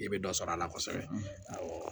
I bɛ dɔ sɔrɔ a la kosɛbɛ awɔ